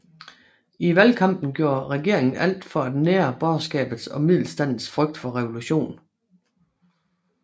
I valgkampen gjorde regeringen alt for at nære borgerskabets og middelstandens frygt for revolution